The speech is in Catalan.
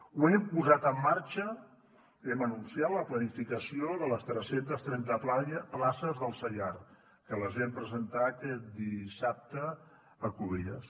ho hem posat en marxa hem anunciat la planificació de les tres cents i trenta places del saiar que les vam presentar aquest dissabte a cubelles